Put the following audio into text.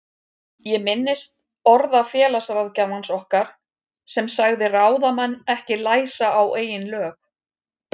Ég minnist orða félagsráðgjafans okkar sem sagði ráðamenn ekki læsa á eigin lög.